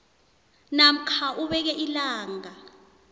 namkha ubeke ilanga